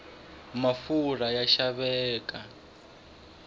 mafurha ya xaveka